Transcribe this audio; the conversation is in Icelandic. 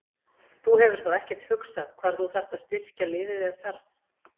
Þú hefur þá ekkert hugsað hvar þú þarft að styrkja liðið ef það þarf?